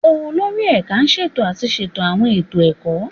Olórí Ẹ̀ka ṣètò àti ṣètò àwọn ètò ẹ̀kọ́